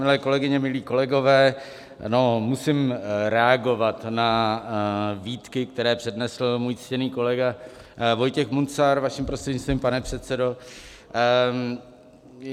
Milé kolegyně, milí kolegové, no, musím reagovat na výtky, které přednesl můj ctěný kolega Vojtěch Munzar, vaším prostřednictvím, pane předsedo.